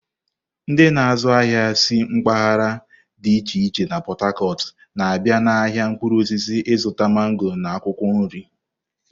Ndị na-azụ ahịa si mpaghara dị iche iche na Pot-Tacot na-abịa n'ahịa mkpụrụ osisi ịzụta mango na akwụkwọ nri.